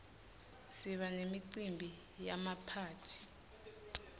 siba nemicimbi yemaphathi